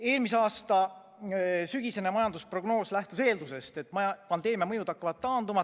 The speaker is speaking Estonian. Eelmise aasta sügisene majandusprognoos lähtus eeldusest, et pandeemia mõjud hakkavad taanduma.